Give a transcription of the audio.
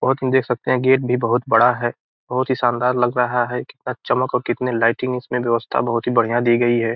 देख सकते हैं गेट भी बहोत बड़ा है | बहोत ही शानदार लग रहा है चमक और कितनी लाइटिंग इसमें व्यवस्था बहोत ही बढ़ियां दी गई है |